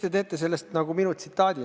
Te teete sellest nagu minu tsitaadi.